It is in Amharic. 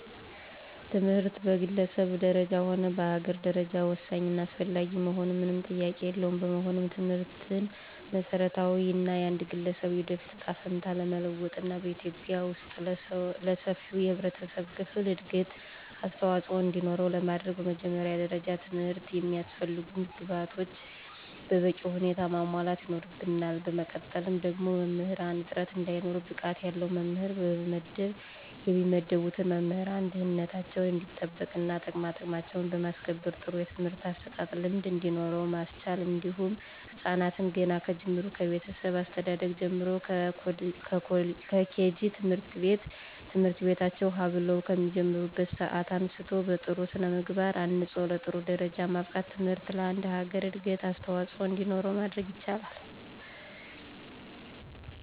ትምህርት በግለሰብ ደረጃ ሆነ በአገር ደረጃ ወሳኝ እና አስፈላጊ መሆኑ ምንም ጥያቄ የለውም። በመሆኑም ትምህርትን በመሰረታዊነት የአንድ ገለሰብ የወደፊት እጣ ፈንታ ለመለወጥና በኢትዩጵያ ወስጥ ለሰፊው የህብረተሰብ ክፍል እድገት አስተዋፅኦ እንዲኖረው ለማድረግ በመጀመሪያ ደረጃ ለትምህርት የሚያስፈልጉ ግብአቶችን በበቂ ሁኔታ ማሟላት ይኖርብናል በመቀጠል ደግሞ የመምህራንን እጥረት እንዳይኖር ብቃት ያለው መምህር መመደብ የሚመደቡትን መምህራን ደህንነታቸው እንዲጠበቅና ጥቅማጥቅማቸውን በማስከበር ጥሩ የትምህርት አሰጣጥ ልምድ እንዲኖር ማስቻል እንዲሁም ህፃናትን ገና ከጅምሩ ከቤተሰብ አስተዳደግ ጀምሮ ከኬጂ ት/ቤት ትምህርታቸውን ሀ ብለው ከሚጀምሩበት ሰአት አንስቶ በጥሩ ስነምግባር አንፆ ለጥሩ ደረጃ ማብቃት ትምህርት ለአንድ ሀገር እድገት አስዋፆኦ እንዲኖር ማድረግ ይቻላል።